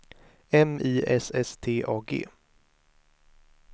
M I S S T A G